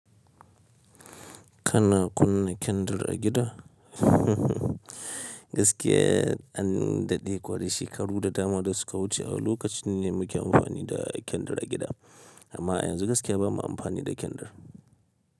Kana kunna kendir a gida? Gaskiya an daɗe kwarai, shekaru da dama da suka wuce a lokaci ne muke amfani da kendir a gida. Amma yanzu gaskiya ba mu amfani da kendir.